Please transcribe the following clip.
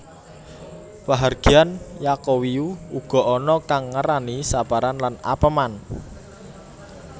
Pahargyan Yaqowiyu uga ana kang ngarani Saparan lan Apeman